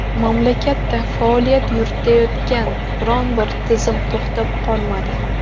Mamlakatda faoliyat yuritayotgan biron-bir tizim to‘xtab qolmadi.